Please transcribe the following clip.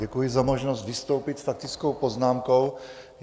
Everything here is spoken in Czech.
Děkuji za možnost vystoupit s faktickou poznámkou.